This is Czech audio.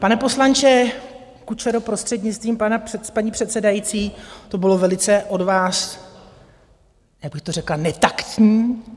Pane poslanče Kučero, prostřednictvím paní předsedající, to bylo velice od vás - jak bych to řekla? - netaktní.